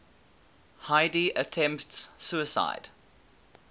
heidi attempts suicide